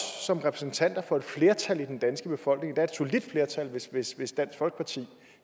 som repræsentanter for et flertal i den danske befolkning der er et solidt flertal hvis hvis dansk folkeparti